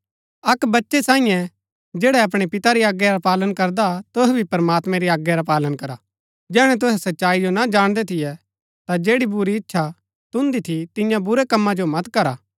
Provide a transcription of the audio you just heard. अक्क अच्छै बच्चै सांईये जैड़ै अपणै पिता री आज्ञा रा पालन करदा हा तुहै भी प्रमात्मैं री आज्ञा रा पालन करा जैहणै तुहै सच्चाई जो ना जाणदै थियै ता जैड़ी बुरी इच्छा तुन्दी थी तिन्या बुरै कमा जो मत करा